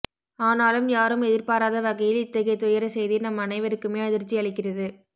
ஆனாலும் யாரும் எதிர்பாராத வகையில் இத்தகைய துயர செய்தி நம் அனைவருக்குமே அதிர்ச்சியளிக்கிறது